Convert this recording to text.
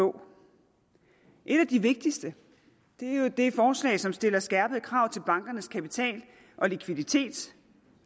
få et af de vigtigste er jo det forslag som stiller skærpede krav til bankernes kapital og likviditet